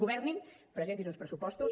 governin presentin uns pressupostos